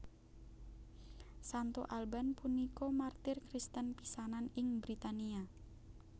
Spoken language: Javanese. Santo Alban punika martir Kristen pisanan ing Britania